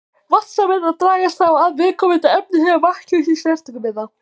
Vatnssameindirnar dragast þá að viðkomandi efni þegar vatn kemst í snertingu við það.